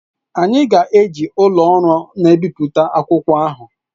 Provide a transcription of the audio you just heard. Anyị ga-eji ụlọ ọrụ na-ebipụta akwụkwọ ahụ.